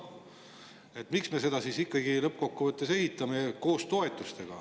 Miks me siis lõppkokkuvõttes ikkagi toetuste abil ehitame?